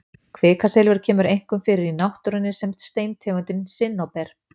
kvikasilfur kemur einkum fyrir í náttúrunni sem steintegundin sinnóber